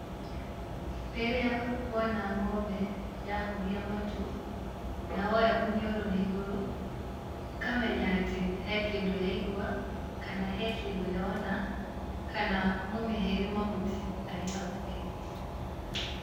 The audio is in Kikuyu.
Rĩrĩa wona ng'ombe yahũgia matũ na yoya mũniũrũ na igũrũ, ũkamenya atĩ he kĩndũ yaigua, kana he kĩndũ yona, kana mũmĩhei mahuti arĩ hakuhĩ.